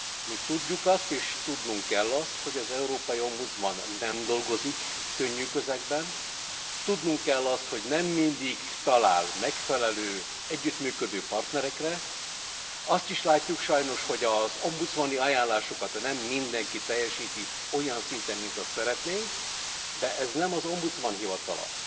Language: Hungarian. Mi tudjuk azt, és tudnunk kell azt, hogy az európai ombudsman nem dolgozik könnyű közegben, tudnunk kell azt, hogy nem mindig talál megfelelő együttműködő partnerekre, azt is látjuk sajnos, hogy az ombudsmani ajánlásokat nem mindenki teljesíti olyan szinten, mint azt szeretnénk, de ez nem az ombudsman hivatala.